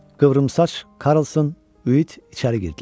Qıvrımsaç, Karlson, Üit içəri girdilər.